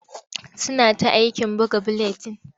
Suna ta aikin buga buletin.